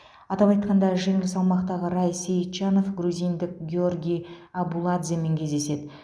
атап айтқанда жеңіл салмақтағы рай сейітжанов грузиндік гиорги абуладземен кездеседі